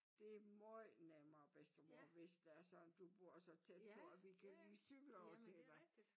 Det er måj nemmere bedstemor hvis det er sådan du bor så tæt på at vi kan lige cykle over til dig